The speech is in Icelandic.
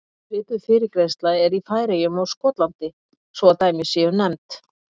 Svipuð fyrirgreiðsla er í Færeyjum og Skotlandi svo að dæmi séu nefnd.